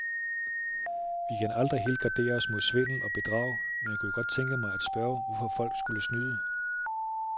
Vi kan aldrig helt gardere os mod svindel og bedrag, men jeg kunne godt tænke mig at spørge, hvorfor folk skulle snyde.